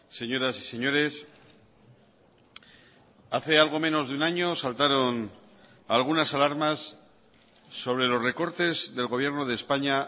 señoras y señores hace algo menos de un año saltaron algunas alarmas sobre los recortes del gobierno de españa